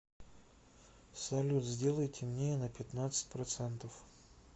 салют сделай темнее на пятнадцать процентов